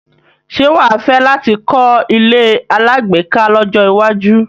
Ṣé wà á fẹ́ láti kọ́ ilé alágbèéká lọ́jọ́ iwájú?